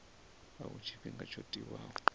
a huna tshifhinga tsho tiwaho